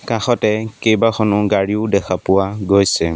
কাষতে কেইবাখনো গাড়ীও দেখা পোৱা গৈছে।